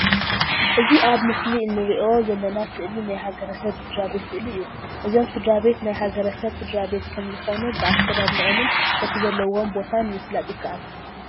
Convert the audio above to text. እዚ ኣብ ምስሊ እንርእዮ ዘለና ስእሊ ናይ ሃገረ ሰብ ስድራቤት ሰእሊ እዩ። እዞም ስድራቤት ናይ ሃገረ ሰብ ስድራቤት ከም ዝኮኑ ብኣከዳድነኦምን በቲ ዘለውዎ ቦታን ምፍላጥ ይካኣል።